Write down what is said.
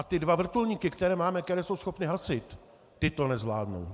A ty dva vrtulníky, které máme, které jsou schopny hasit, ty to nezvládnou.